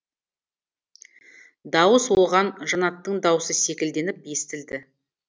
дауыс оған жаннаттың даусы секілденіп естілді